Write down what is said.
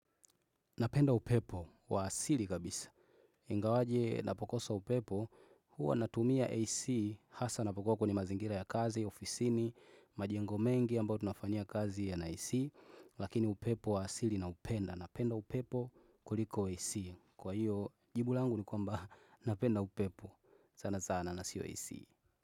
Napenda upepo wa asili kabisa. Ingawaje napokosa upepo, huwa natumia AC hasa napokuwakwenye mazingira ya kazi, ofisini, majengo mengi ambayo tunafanyia kazi ya na AC. Lakini upepo wa asili na upenda. Napenda upepo kuliko AC. Kwa hiyo, jibu langu ni kwa mba napenda upepo. Sana sana na sio AC.